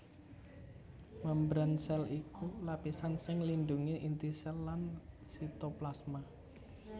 Mémbran sèl iku lapisan sing nglindhungi inti sèl lan sitoplasma